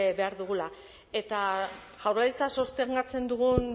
behar dugula eta jaurlaritza sostengatzen dugun